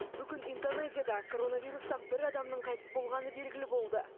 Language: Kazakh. бүгін индонезияда коронавирустан бір адамның қайтыс болғаны белгілі болды